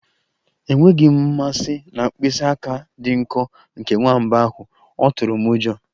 Enweghị m mmasị na mkpịsị aka dị nkọ nke nwamba ahụ, ọ tụrụ m ụjọ.